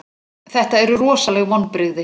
Þetta eru rosaleg vonbrigði.